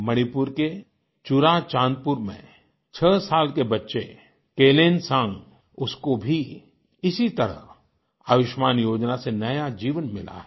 मणिपुर के चुराचांदपुर में छह साल के बच्चे केलेनसांग उसको भी इसी तरह आयुष्मान योजना से नया जीवन मिला है